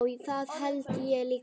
Já, það held ég líka.